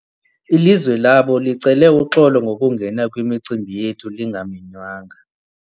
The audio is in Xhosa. Ilizwe labo licele uxolo ngokungena kwimicimbi yethu lingamenywanga.